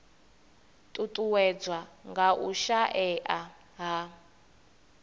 ṱuṱuwedzwa nga u shaea ha